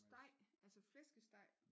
Steg altså flæskesteg